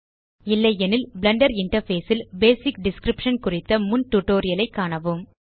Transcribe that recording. இல்லையெனில் Blender interface ல் basic description குறித்த முன் டியூட்டோரியல் ஐ காணவும்